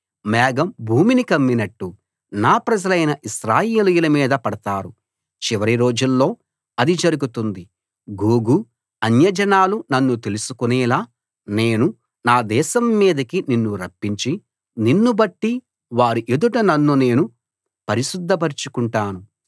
మేఘం భూమిని కమ్మినట్లు నా ప్రజలైన ఇశ్రాయేలీయుల మీద పడతారు చివరి రోజుల్లో అది జరుగుతుంది గోగూ అన్యజనాలు నన్ను తెలుసుకొనేలా నేను నా దేశం మీదికి నిన్ను రప్పించి నిన్నుబట్టి వారి ఎదుట నన్ను నేను పరిశుద్ధ పరచుకుంటాను